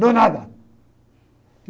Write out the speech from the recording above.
Do nada.